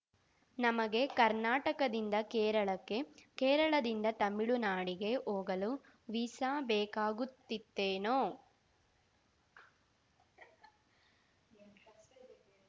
ನಮಗೆ ಕರ್ನಾಟಕದಿಂದ ಕೇರಳಕ್ಕೆ ಕೇರಳದಿಂದ ತಮಿಳುನಾಡಿಗೆ ಹೋಗಲು ವೀಸಾ ಬೇಕಾಗುತ್ತಿತ್ತೇನೋ